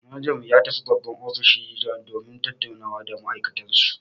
Manajan mu ya tafi babban ofishin mu domin ya tattauna da ma'aikatansu.